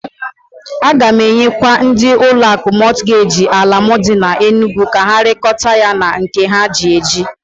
A ga m enyekwa ndị ụlọ akụ Mọtgeji ala m dị n'Enugu ka ha rekota ya na nke ha ji eji.